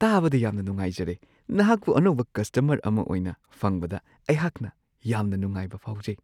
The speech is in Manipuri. ꯇꯥꯕꯗ ꯌꯥꯝꯅ ꯅꯨꯡꯉꯥꯏꯔꯦ! ꯅꯍꯥꯛꯄꯨ ꯑꯅꯧꯕ ꯀꯁꯇꯃꯔ ꯑꯃ ꯑꯣꯏꯅ ꯐꯪꯕꯗ ꯑꯩꯍꯥꯛꯅ ꯌꯥꯝꯅ ꯅꯨꯡꯉꯥꯏꯕ ꯐꯥꯎꯖꯩ ꯫ (ꯑꯦꯀꯥꯎꯟꯠ ꯑꯃ ꯍꯥꯡꯗꯣꯛꯄ)